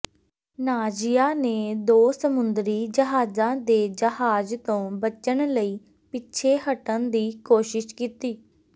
ਨਾਜ਼ੀਆਂ ਨੇ ਦੋ ਸਮੁੰਦਰੀ ਜਹਾਜ਼ਾਂ ਦੇ ਜਹਾਜ ਤੋਂ ਬਚਣ ਲਈ ਪਿੱਛੇ ਹਟਣ ਦੀ ਕੋਸ਼ਿਸ਼ ਕੀਤੀ